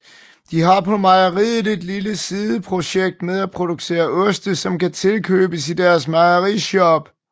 De har på mejeriet et lille sideprojekt med at producere oste som kan tilkøbes i deres mejerishop